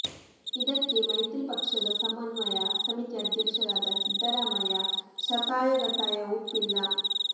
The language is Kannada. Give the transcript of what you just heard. ಇದಕ್ಕೆ ಮೈತ್ರಿ ಪಕ್ಷದ ಸಮನ್ವಯ ಸಮಿತಿ ಅಧ್ಯಕ್ಷರಾದ ಸಿದ್ದರಾಮಯ್ಯ ಶತಾಯಗತಾಯ ಒಪ್ಪಿಲ್ಲ